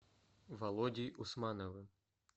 володей усмановым